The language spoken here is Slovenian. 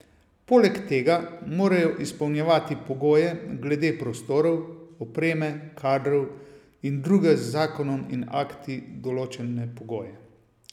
Poleg tega morajo izpolnjevati pogoje glede prostorov, opreme, kadrov in druge z zakonom in akti določene pogoje.